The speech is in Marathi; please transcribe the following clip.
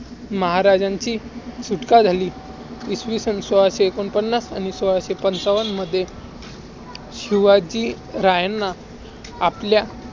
महाराजांची सुटका झाली. इसवी सन सोळाशे एकोणपन्नास आणि सोळाशे पंचावनमध्ये शिवाजीरायांना आपल्या